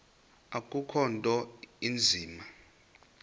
akukho nto inzima